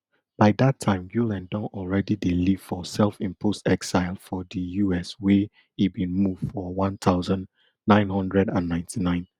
by dat time gulen don already dey live for selfimposed exile for di us wia e bin move for one thousand, nine hundred and ninety-nine